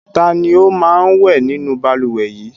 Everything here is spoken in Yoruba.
Ta ni ó máa ń wẹ̀ nínú balùwẹ̀ yìí?